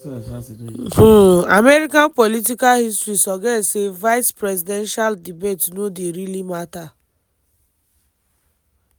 um american political history suggest say vice-presidential debates no dey really matter.